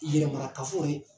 Yɛrɛmara kafo ye